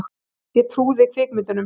Ég trúði kvikmyndunum.